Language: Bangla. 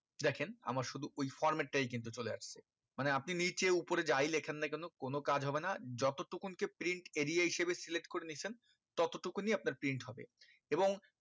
দেখেন আমার শুধু ওই format টাই কিন্তু চলে আসছে আপনি নিচে উপরে যাই লেখেন না কেন কোনো কাজ হবে না যত টুকুন কে print area হিসাবে select করে নিয়েছেন ততটুকুনি আপনার print হবে এবং